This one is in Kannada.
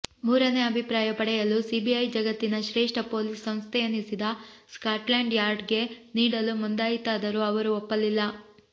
ಮೂರನೇ ಅಭಿಪ್ರಾಯ ಪಡೆಯಲು ಸಿಬಿಐ ಜಗತ್ತಿನ ಶ್ರೇಷ್ಠ ಪೊಲೀಸ್ ಸಂಸ್ಥೆಯೆನಿಸಿದ ಸ್ಕಾಟ್ಲ್ಯಾಂಡ್ ಯಾರ್ಡ್ಗೆ ನೀಡಲು ಮುಂದಾಯಿತಾದರೂ ಅವರು ಒಪ್ಪಲಿಲ್ಲ